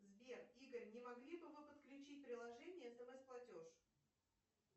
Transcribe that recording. сбер игорь не могли бы вы подключить приложение смс платеж